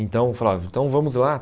Então eu falava, então vamos lá.